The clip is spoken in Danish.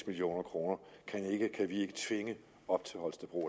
million kroner kan vi ikke tvinge op til holstebro